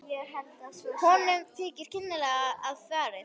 Konum þykir kynlega að farið.